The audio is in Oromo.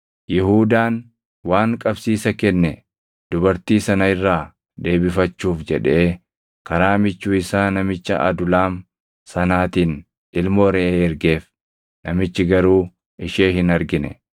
Yihuudaan waan qabsiisa kenne dubartii sana irraa deebifachuuf jedhee karaa michuu isaa namicha Adulaam sanaatiin ilmoo reʼee ergeef; namichi garuu ishee hin argine.